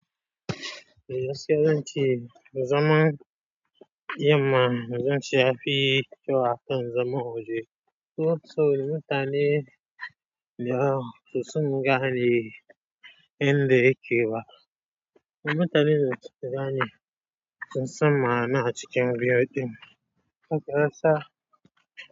Gaskiya zan ce da zama yamma, zan ce ya fi kyau akan zaman waje. Ko saboda da mutane ya sungane inda yake ba in mutanen da suka gane sun san ma'ana acikin biyar in haka yasa.